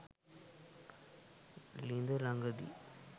ලිඳ ළඟදි